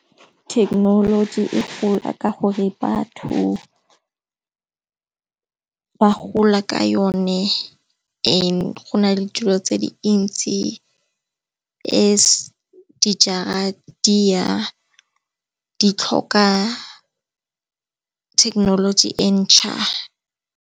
Thekenoloji e gola ka gore batho ba gola ka yone e, go na le dilo tse dintsi as di jara di tlhoka thekenoloji e ntjha.